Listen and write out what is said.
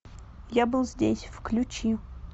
я был здесь включи